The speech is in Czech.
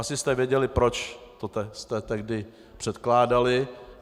Asi jste věděli, proč jste to tehdy předkládali.